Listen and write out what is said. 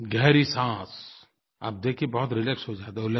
गहरी साँस आप देखिए बहुत रिलैक्स हो जाता है